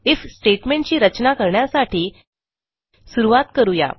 if statement ची रचना करण्यासाठी सुरूवात करू या